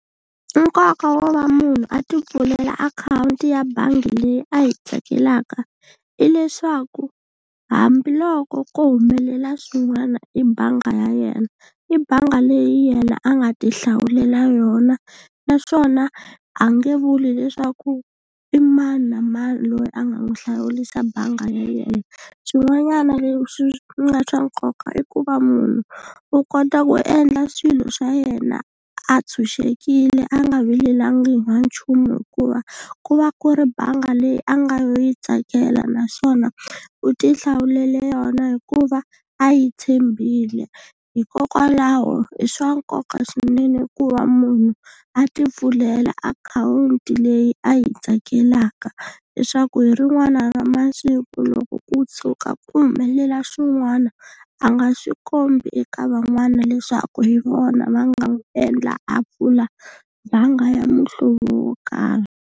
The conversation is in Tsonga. Nkoka wo va munhu a ti pfulela akhawunti ya bangi leyi a yi tsakelaka hileswaku hambiloko ko humelela swin'wana hi bangi ya yena i bangi leyi yena a nga tihlawulela yona, naswona a nge vuli leswaku i mani na mani loyi a nga n'wi hlawurisa bangi ya yena. Xin'wanyana leswi nga swa nkoka i ku va munhu u kota ku endla swilo swa yena a tshunxekile a nga vilelangi ha nchumu hikuva ku va ku ri bangi leyi a nga yi tsakela naswona u tihlawulela yona hikuva a yi tshembile. Hikokwalaho i swa nkoka swinene ku va munhu a ti pfulela akhawunti leyi a yi tsakelaka leswaku hi rin'wana ra masiku loko ku tshuka ku humelela swin'wana a nga swi kombi eka van'wana leswaku hi vona va nga n'wi endla a pfula banga ya muhlovo wo karhi.